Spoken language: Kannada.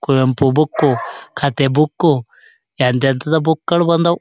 ಕುವೆಂಪು ಬುಕ್ಕು ಕಥೆ ಬುಕ್ಕು ಎಂತ್ ಎಂತದು ಬುಕ್ಗಳು ಬಂದವು.